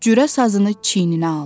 Cürə sazını çiyninə aldı.